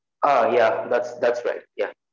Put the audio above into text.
Aam yeah thats right